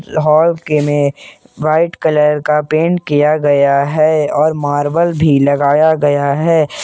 Hall के में white colour का पेंट किया गया है और मार्बल भी लगाया गया है।